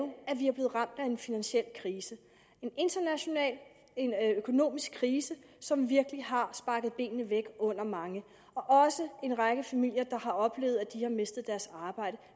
at af en finansiel krise en international økonomisk krise som virkelig har sparket benene væk under mange og en række familier har oplevet at de har mistet deres arbejde